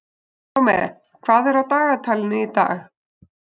Salome, hvað er á dagatalinu í dag?